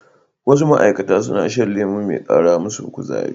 Wasu ma'aikata suna shan lemo mai kara musu kuzari.